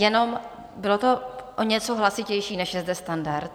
Jenom, bylo to o něco hlasitější, než je zde standard.